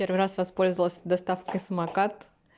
первый раз воспользовалась доставкой самокат